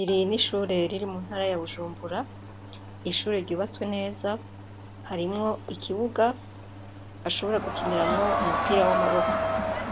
Iri n'ishure riri mu ntara ya bujumbura, ishure ryubatswe neza ,harimwo ikibuga ,bashobore gukiniramwo umupira w'amaboko,